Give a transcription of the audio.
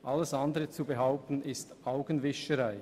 Etwas anderes zu behaupten ist Augenwischerei.